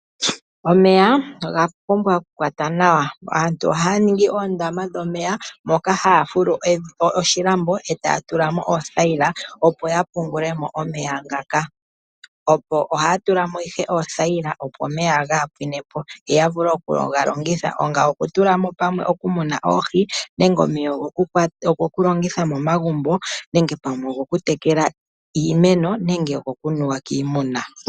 Omeya oga pumbwa oku kwatwa nawa. Aantu ohaya ningi oondama dhomeya moka haya fulu oshilambo etaya tula mo oothaila, opo ya pungule mo omeya ngaka, ohaya tula mo ihe oothaila opo omeya kaaga pwine po yo ya vule okuga longitha okutula mo pamwe okumuna oohi, nenge omeya ogo ku longitha momagumbo, nenge pamwe ogo ku tekela iimeno nenge gokunuwa kiimuna.